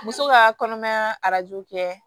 Muso ka kɔnɔmaya arajo kɛ